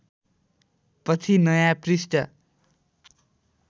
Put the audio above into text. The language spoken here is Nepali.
पछि नयाँ पृष्ठ